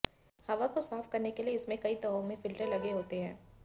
हवा को साफ करने के लिए इसमें कई तहों में फिल्टर लगे होते हैं